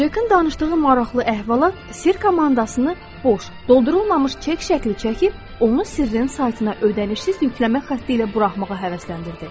Cekin danışdığı maraqlı əhvalat sirr komandasını boş, doldurulmamış çek şəkli çəkib, onu sirrin saytına ödənişsiz yükləmək xəstə ilə buraxmağa həvəsləndirdi.